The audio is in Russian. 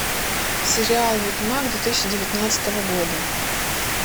сериал ведьмак две тысячи девятнадцатого года